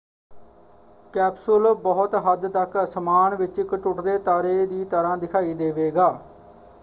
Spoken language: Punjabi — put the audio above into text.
ਕੈਪਸੂਲ ਬਹੁਤ ਹੱਦ ਤੱਕ ਅਸਮਾਨ ਵਿੱਚ ਇੱਕ ਟੁੱਟਦੇ ਤਾਰੇ ਦੀ ਤਰ੍ਹਾਂ ਦਿਖਾਈ ਦੇਵੇਗਾ।